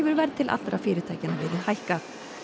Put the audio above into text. verð til allra fyrirtækjanna verið hækkað